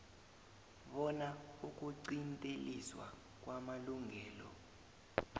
bona ukuqinteliswa kwamalungelo